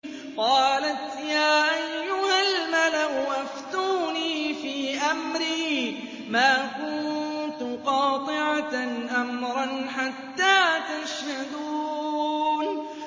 قَالَتْ يَا أَيُّهَا الْمَلَأُ أَفْتُونِي فِي أَمْرِي مَا كُنتُ قَاطِعَةً أَمْرًا حَتَّىٰ تَشْهَدُونِ